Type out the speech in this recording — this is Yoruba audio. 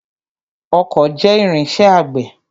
Ọkọ́ jẹ́ irinṣẹ́ àgbẹ̀.